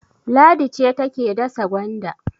Ladi ce take dasa gwanda.